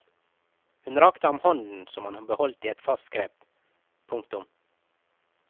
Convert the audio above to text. Hun rakte ham hånden som han beholdt i et fast grep. punktum